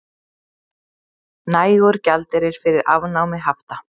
Nægur gjaldeyrir fyrir afnámi hafta